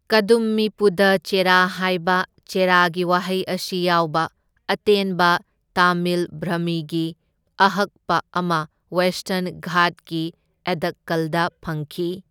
ꯀꯗꯨꯝꯃꯤ ꯄꯨꯙꯥ ꯆꯦꯔꯥ ꯍꯥꯏꯕ ꯆꯦꯔꯥꯒꯤ ꯋꯥꯍꯩ ꯑꯁꯤ ꯌꯥꯎꯕ ꯑꯇꯦꯟꯕ ꯇꯥꯃꯤꯜ ꯕ꯭ꯔꯥꯍꯃꯤꯒꯤ ꯑꯍꯛꯄ ꯑꯃ ꯋꯦꯁꯇꯔꯟ ꯘꯥꯠꯀꯤ ꯑꯦꯗꯛꯀꯜꯗ ꯐꯪꯈꯤ꯫